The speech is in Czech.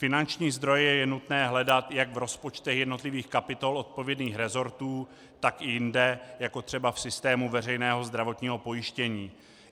Finanční zdroje je nutné hledat jak v rozpočtech jednotlivých kapitol odpovědných rezortů, tak i jinde, jako třeba v systému veřejného zdravotního pojištění.